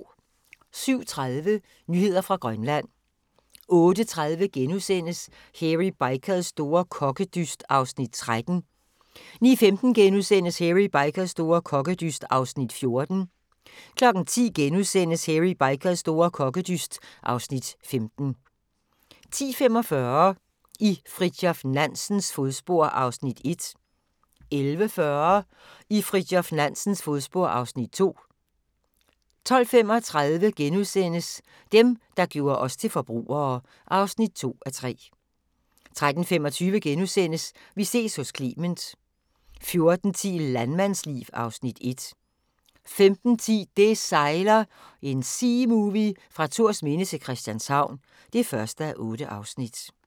07:30: Nyheder fra Grønland 08:30: Hairy Bikers store kokkedyst (Afs. 13)* 09:15: Hairy Bikers store kokkedyst (Afs. 14)* 10:00: Hairy Bikers store kokkedyst (Afs. 15)* 10:45: I Fridtjof Nansens fodspor (Afs. 1) 11:40: I Fridtjof Nansens fodspor (Afs. 2) 12:35: Dem, der gjorde os til forbrugere (2:3)* 13:25: Vi ses hos Clement * 14:10: Landmandsliv (Afs. 1) 15:10: Det sejler – en seamovie fra Thorsminde til Christianshavn (1:8)